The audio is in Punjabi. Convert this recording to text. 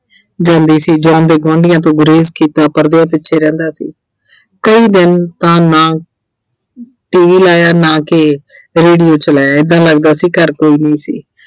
ਜਾਂਦੀ ਸੀ John ਨੇ ਗੁਆਂਢੀਆਂ ਤੋਂ ਗੁਰੇਜ ਕੀਤਾ ਪਰਦਿਆਂ ਪਿੱਛੇ ਰਹਿੰਦਾ ਸੀ ਕਈ ਦਿਨ ਤਾਂ ਨਾ T. V ਲਾਇਆ ਨਾ ਕਿ radio ਚਲਾਇਆ ਏਦਾਂ ਲੱਗਦਾ ਸੀ ਘਰ ਕੋਈ ਨਹੀਂ ਸੀ।